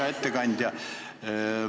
Hea ettekandja!